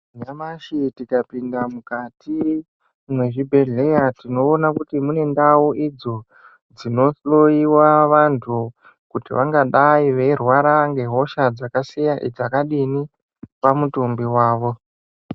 Nyamashi tikapinda mukati mezvibhedhlera tinoona kuti munendau idzo dzinohloyiwa vantu kuti vangadai veirwara ngehosha dzakadini pamutumbi wavo.